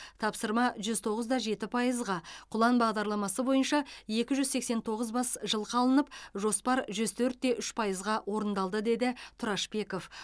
тапсырма жүз тоғызда жеті пайызға құлан бағдарламасы бойынша екі жүз сексен тоғыз бас жылқы алынып жоспар жүз төртте үш пайызға орындалды деді тұрашбеков